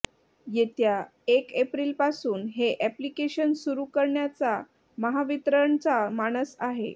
येत्या एक एप्रिलपासून हे अॅप्लिकेशन सुरू करण्याचा महावितरणचा मानस आहे